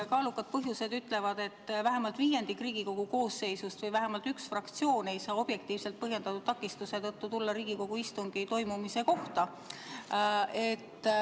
Kaalukate põhjustega on tegemist siis, kui vähemalt viiendik Riigikogu koosseisust või vähemalt üks fraktsioon ei saa objektiivselt põhjendatud takistuse tõttu tulla Riigikogu istungi toimumise kohta.